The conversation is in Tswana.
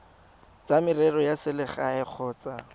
tsa merero ya selegae kgotsa